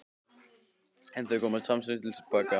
En þau koma samstundis til baka.